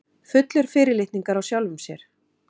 Fullur fyrirlitningar á sjálfum sér.